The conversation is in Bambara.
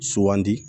Sugandi